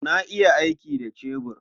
Na iya aiki da cebur.